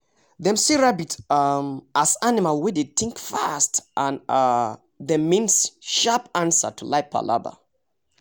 dem see rabbit um as animal wey dey think fast and um dem mean sharp answer to life palava